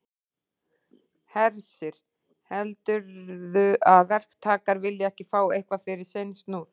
Hersir: Heldurðu að verktakar vilji ekki fá eitthvað fyrir sinn snúð?